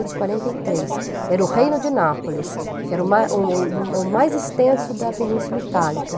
mil oitocentos e quarenta e três, era o Reino de Nápoles, que era o o o mais extenso da Península Itálica.